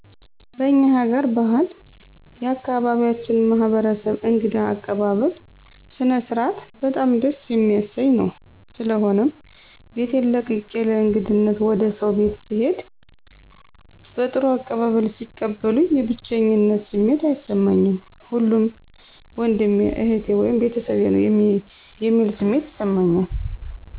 በእኛ ሀገር ባህል የአካባቢያችን ማህበረሰብ እንግዳ አቀባበል ስነስርዓት በጣም ደስ የሚያሰኝ ነዉ። ስለሆነም ቤቴን ለቅቄ ለእንግድነት ወደ ሰዉ ቤት ስሄድ በጥሩ አቀባበል ሲቀበሉኝ የብቼኝነት ስሜት አይሰማኝም ሁሉም ወንድሜ እህቴ(ቤተሰቤ) ነዉ የሚል ስሜት ይሰማኛል።